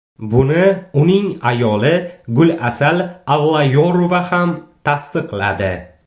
Buni uning ayoli Gulasal Avlayorova ham tasdiqladi.